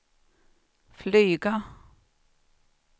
flyga